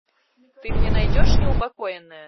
ты мне найдешь неупокоенная